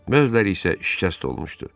Mözləri isə şikəst olmuşdu.